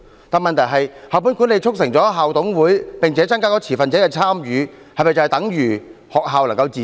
但問題是，校本管理促成了校董會，並增加持份者的參與，這是否等於學校能夠自主？